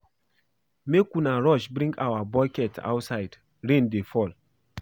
Make una rush bring our bucket outside rain dey fall